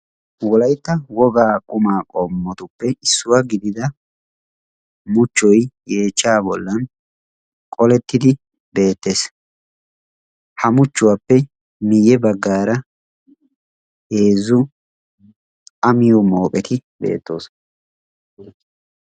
Wolaytta wogaa qumaa qomottuppe issuwa gididda muchoy beetes. Ha muchchuwa matan a ekkiddi miyo mooqetti beetosonna.